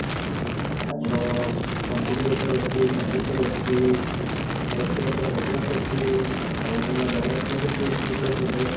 ଆମର ପଞ୍ଚଲିଙ୍ଗେଶ୍ଵର ଅଛି ଚାନ୍ଦିପୁର ଅଛି ଆମର କ୍ଷୀରଚୋରା ଗୋପୀନାଥ ଅଛି ଆଉ ଗୋଟେ ନୂଆ ଜଗନ୍ନାଥ ମନ୍ଦିର ବି ହେଇଛି ମିତ୍ରପୁରରେ